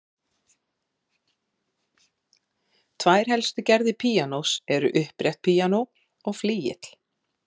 Tvær helstu gerðir píanós eru upprétt píanó og flygill.